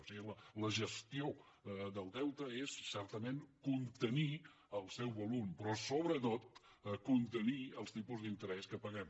o sigui la gestió del deute és certament contenir el seu volum però sobretot contenir els tipus d’interès que paguem